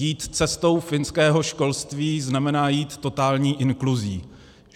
Jít cestou finského školství znamená jít totální inkluzí.